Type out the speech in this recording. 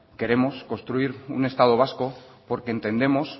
queremos construir un estado vasco porque entendemos